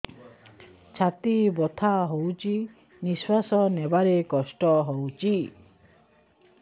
ଛାତି ବଥା ହଉଚି ନିଶ୍ୱାସ ନେବାରେ କଷ୍ଟ ହଉଚି